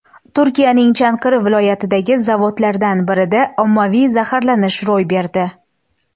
Turkiyaning Chankiri viloyatidagi zavodlardan birida ommaviy zaharlanish ro‘y berdi.